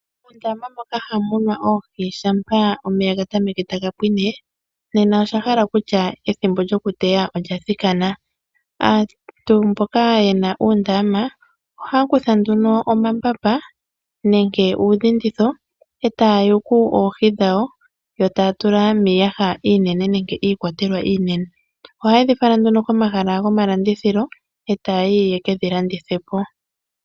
Mondama moka hamu munwa oohi shampa omeya ga tameke taga pwine, nena osha hala okutya ethimbo lyokuteya olya thikana. Aantu mboka ye na uundama ohaya kutha nduno omambamba nenge uudhinditho e taya yuku oohi dhawo, yo taya tula miiyaha iinene nenge iikwatelwa iinene. Ohaya dhi fala nduno komahala gomalandithilo e taya yi ye ke yi landithe po.